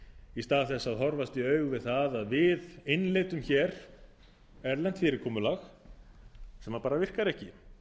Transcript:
í stað þess að horfast í augu við það að við innleiddum erlent fyrirkomulag sem virkar ekki